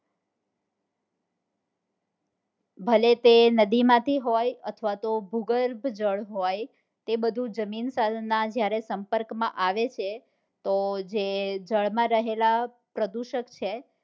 ભલે તે નદી માંથી હોય અથવા તો ભૂગર્ભ જળ હોય તે બધું જમીન સાથે સંપર્ક માં આવ છે તો જે જળ માં રહેલા પ્રદુષક છે